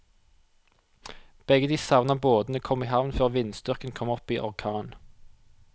Begge de savnede båtene kom i havn før vindstyrken kom opp i orkan.